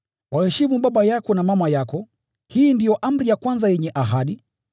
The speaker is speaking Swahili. “Waheshimu baba yako na mama yako,” hii ndio amri ya kwanza yenye ahadi,